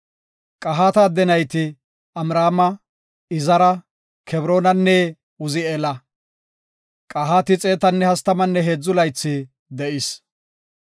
Qahaata adde nayti Amraama, Izara, Kebroonanne Uzi7eela. Qahaati xeetanne hastamanne heedzu laythi de7is.